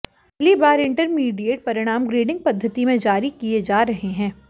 पहली बार इंटरमीडिएट परिणाम ग्रेडिंग पद्धति में जारी किए जा रहे हैं